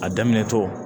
A daminɛtɔ